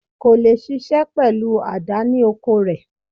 Kò leè ṣiṣẹ́ pẹ̀lú àdá ní oko rẹ̀